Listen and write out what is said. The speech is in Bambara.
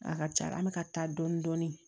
A ka ca la an bɛka taa dɔɔni dɔɔni